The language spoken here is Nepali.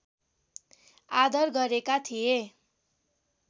आदर गरेका थिए